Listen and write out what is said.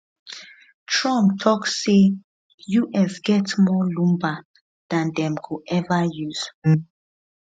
trump tok say us get more lumber dan dem go ever use